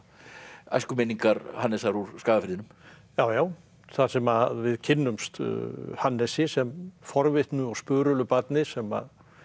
æskuminningar Hannesar úr Skagafirðinum já já þar sem við kynnumst Hannesi sem forvitnu og barni sem